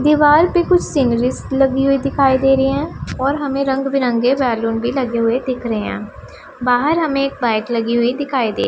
दीवाल पे कुछ सीनरी सी लगी हुई दिखाई दे रही है और हमें रंग बिरंगे बैलून भी लगे हुए दिख रहे हैं बाहर हमें एक बाइक लगी हुई दिखाई दे--